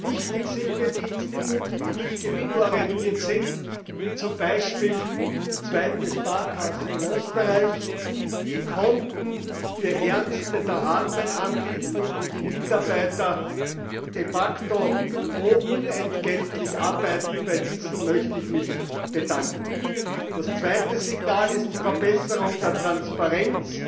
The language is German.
Wichtig sind mir die Institute, die nicht gewinnorientiert sind, wie zum Beispiel die Zweite Sparkasse in Österreich, die Konten für Ärmste der Armen anbieten und wo die Mitarbeiter de facto unentgeltlich arbeiten. Bei diesen möchte ich mich bedanken! Das zweite Signal ist die Verbesserung der Transparenz